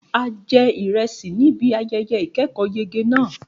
A jẹ ìrẹsì níbi ayẹyẹ ìkẹ́kọ̀ọ́yege náà.